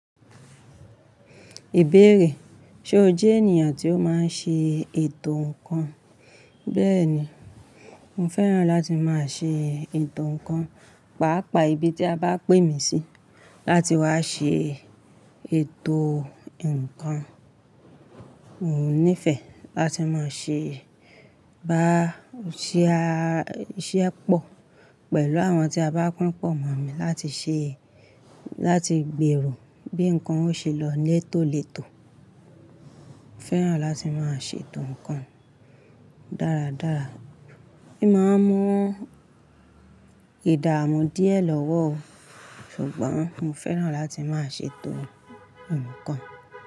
Ìbéèrè: ṣe o jé ènìyàn tí ó máa ń ṣe ètò ǹkan? Béèni, mo fẹ́ràn láti máa ṣe ètò ǹkan, pàápàá ibi tí a bá pè mí sí láti wá ṣe ètò ǹkan. Mo nífẹ̀ẹ́ láti máa ṣe ibaṣẹ́ pọ̀ pẹ̀lú àwọn tí a bá pínpọ̀ mọ̀ mí láti ṣe, láti gbèrò bí ǹkan ó ṣe lọ létòletò. Mo fẹ́ràn láti máa ṣe ètò ǹkan dáradára. O máa ń mọ ìdààmú díẹ̀ lọ́wọ́, ṣùgbọ́n mo fẹ́ràn láti máa ṣe ètò ǹkan.